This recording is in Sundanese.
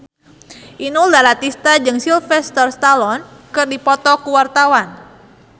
Inul Daratista jeung Sylvester Stallone keur dipoto ku wartawan